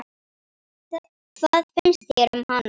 Hvað finnst þér um hana?